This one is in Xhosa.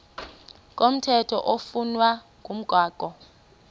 komthetho oflunwa ngumgago